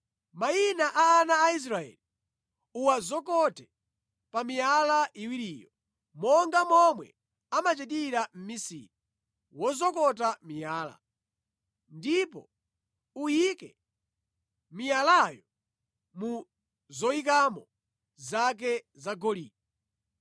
Mayina a ana a Israeli uwazokote pa miyala iwiriyo, monga momwe amachitira mmisiri wozokota miyala. Ndipo uyike miyalayo mu zoyikamo zake zagolide.